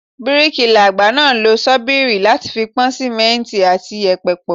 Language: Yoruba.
Bíríkilà àgbà náà ń lo ṣọ́bìrì láti fi po Símẹ́ǹtì àti yèpẹ̀ pọ̀.